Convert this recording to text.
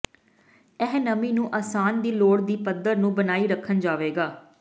ਇਹ ਨਮੀ ਨੂੰ ਆਸਾਨ ਦੀ ਲੋੜ ਦੀ ਪੱਧਰ ਨੂੰ ਬਣਾਈ ਰੱਖਣ ਜਾਵੇਗਾ